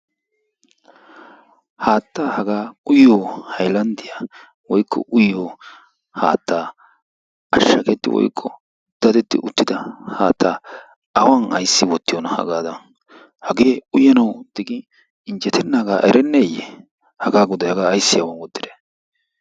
Haattaa hagaa uyiyo hayilanddiya woykko uyiyo haatta ashshagetti woykko dadetti uttida haattaa awan ayssi wottiyoonaa hagaadaan hagee uyanawu digin injjetennaaga erenneeyye hagaa godayi hagaa aysdi awan wottidee.